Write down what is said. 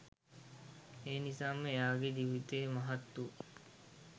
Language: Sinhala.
එනිසාම එයාගෙ ජීවිතය මහත් වූ